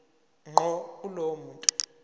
ngqo kulowo muntu